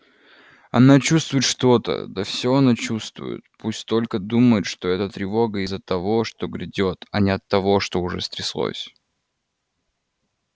она чувствует что-то да всё она чувствует пусть только думает что эта тревога из-за того что грядёт а не от того что уже стряслось